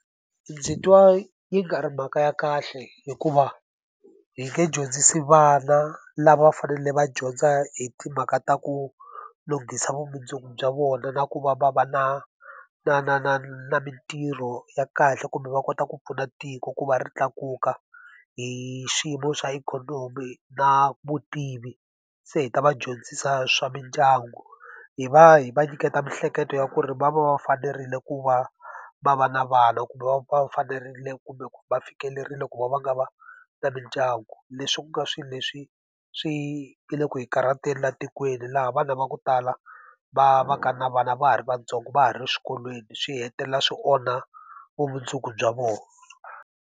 Ndzi twa yi nga ri mhaka ya kahle hikuva, hi nge dyondzisi vana lava va fanele va dyondza hi timhaka ta ku lunghisa vumundzuku bya vona na ku va va va na na na na na mintirho ya kahle kumbe va kota ku pfuna tiko ku va ri tlakuka, hi xiyimo xa ikhonomi na vutivi, se hi ta va dyondzisa swa mindyangu. Hi va hi va nyiketa miehleketo ya ku ri va va va fanerile ku va va va na vana kumbe va va fanerile kumbe va fikelerile ku va va nga va na mindyangu. Leswi ku nga swilo leswi swi nga le ku hi karhateni laha tikweni, laha vana va ku tala va va ka na vana va ha ri vantsongo, va ha ri swikolweni, swi hetelela swi onha vumundzuku bya vona.